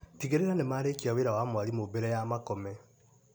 Tigĩrĩra nĩ marĩkia wĩra wa mwarimũ mbere ya makome.